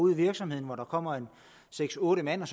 ud i virksomhederne hvor der kommer seks otte mand